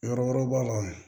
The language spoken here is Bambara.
Yɔrɔ wɛrɛw b'a la